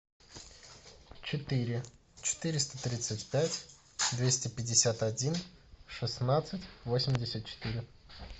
четыре четыреста тридцать пять двести пятьдесят один шестнадцать восемьдесят четыре